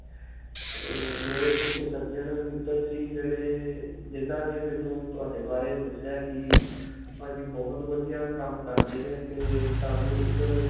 'ਤੇ ਮੇਰੇ ਕੁਝ ਸੱਜਣ-ਮਿੱਤਰ ਸੀ, ਜਿਹੜੇ ਜਿੰਨ੍ਹਾਂ ਨੇ ਮੈਨੂੰ ਤੁਹਾਡੇ ਬਾਰੇ ਦੱਸਿਆ ਹੈ ਕਿ ਭਾਜੀ ਬਹੁਤ ਵਧੀਆ ਕੰਮ ਕਰਦੇ ਨੇ 'ਤੇ ਤੁਹਾਨੂੰ ਇੱਕ.